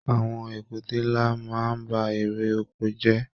Àwọn èkúté nlá máa n ba èrè oko jẹ.